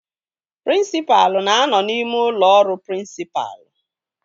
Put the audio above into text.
Prịnsịpalụ na-anọ n'ime ụlọ ọrụ prịnsịpalụ